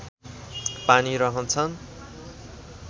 पानी रहन्छ